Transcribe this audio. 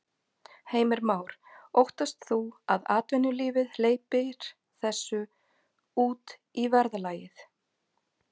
Heimir Már: Óttast þú að atvinnulífið hleypir þessu út í verðlagið?